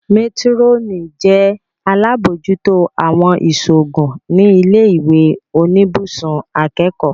Métírọ́nì jẹ́ alábòójútó àwọn ìṣòògùn ní ilé ìwé oníbùsùn akẹ́kọ̀ọ́